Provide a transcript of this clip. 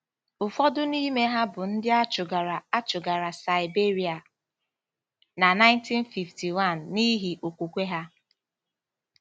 Ụfọdụ n’ime ha bụ ndị a chụgara a chụgara Saịberịa na 1951 n’ihi okwukwe ha.